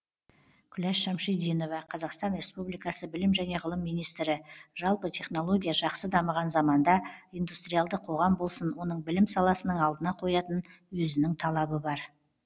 күләш шамшидинова қазақстан республикасы білім және ғылым министрі жалпы технология жақсы дамыған заманда индустриалды қоғам болсын оның білім саласының алдына қоятын өзінің талабы бар